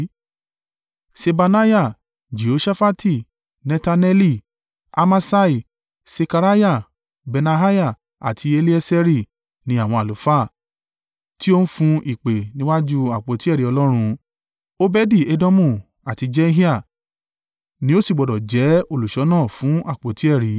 Ṣebaniah, Jehoṣafati, Netaneli, Amasai, Sekariah, Benaiah àti Elieseri ní àwọn àlùfáà, tí o ń fún ìpè níwájú àpótí ẹ̀rí Ọlọ́run. Obedi-Edomu àti Jehiah ni ó sì gbọdọ̀ jẹ́ olùṣọ́nà fún àpótí ẹ̀rí.